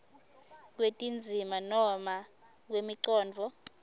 kwetindzima noma kwemicondvo